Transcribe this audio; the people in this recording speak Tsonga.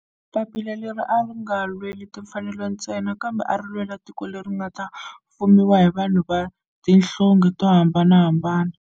Papila leri a ri nga lweli timfanelo ntsena kambe ari lwela tiko leri nga ta fumiwa hi vanhu va tihlonge to hambanahambana.